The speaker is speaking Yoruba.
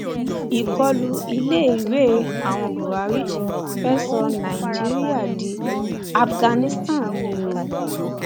ìkọlù iléèwé àwọn buhari fee sọ nàìjíríà di afghanistan ni o